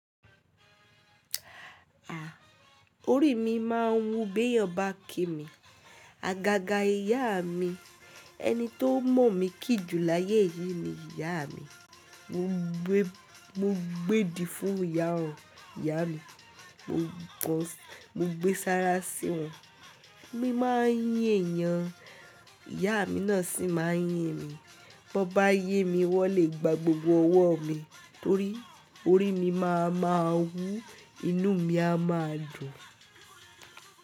À, orí mi máa ń wú bí èèyàn bá kí mi. Àgàgà ìyá mi, ẹni tó mọ̀ mí kì jù láyé yìí ni ìyá mi. Mo gbé, mo gbé di fún ìyá wọn, ìyá mi. Mo gbé sára sí wọn. Mo máa ń yín èèyàn, ìyá mi náà sì máa ń yín mi. Bí wọ́n bá n yin mi wọlé gba gbogbo ọwọ́ mi torí orí mi máa ma wú, inú mi a máa dùn.